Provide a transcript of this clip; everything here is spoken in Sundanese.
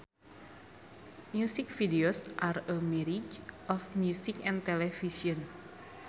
Music videos are a marriage of music and television